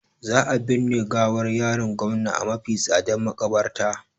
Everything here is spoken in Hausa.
Za a birne gawar yaron gomna a mafi tsadar makabarta